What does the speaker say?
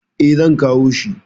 E, zan kawo shi.